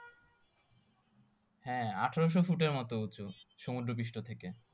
হ্যাঁ আঠেরোশো ফুটের মতো উঁচু সুমদ্র পৃষ্ঠ থেকে